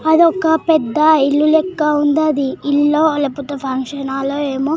అదొక పెద్ద ఇల్లు లెక్క ఉందా అది ఇల్లో లేపోతే ఫంక్షన్ హాల్లో ఏమో